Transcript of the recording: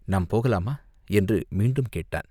நாம் போகலாமா?" என்று மீண்டும் கேட்டான்.